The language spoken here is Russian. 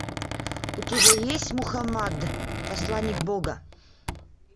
у тебя есть мухаммад посланник бога